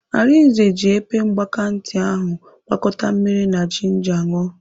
Arinze ji epe mgbakantị ahụ gwakọta mmiri na jinja ṅụọ.